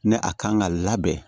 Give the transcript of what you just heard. Ne a kan ka labɛn